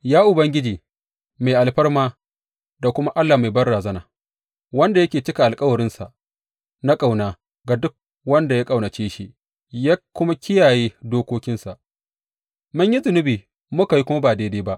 Ya Ubangiji, mai alfarma da kuma Allah mai banrazana, wanda yake cika alkawarinsa na ƙauna ga duk wanda ya ƙaunace shi ya kuma kiyaye dokokinsa, mun yi zunubi muka kuma yi ba daidai ba.